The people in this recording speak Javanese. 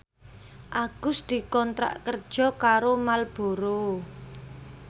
Agus dikontrak kerja karo Marlboro